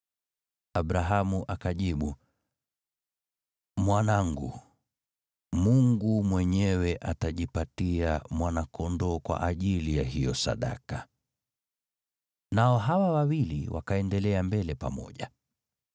Abrahamu akajibu, “Mwanangu, Mungu mwenyewe atajipatia mwana-kondoo kwa ajili ya hiyo sadaka ya kuteketezwa.” Nao hawa wawili wakaendelea mbele pamoja.